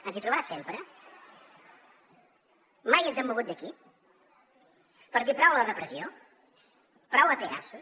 ens hi trobarà sempre mai ens hem mogut d’aquí per dir prou a la repressió prou a pegasus